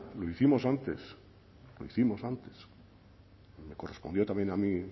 lo hicimos antes lo hicimos antes me correspondió también a mí